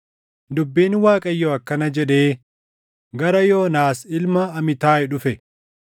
Dubbiin Waaqayyoo akkana jedhee gara Yoonaas ilma Amitaayi dhufe: